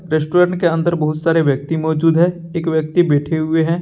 Restaurant के अंदर बहुत सारे व्यक्ति मौजूद है एक व्यक्ति बैठे हुए हैं।